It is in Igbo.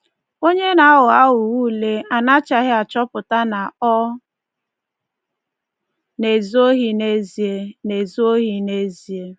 Onye na-aghọ aghụghọ ule anachaghị achọpụta na ọ na-ezu ohi n’ezie. na-ezu ohi n’ezie.